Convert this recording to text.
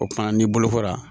O kumana n'i bolokora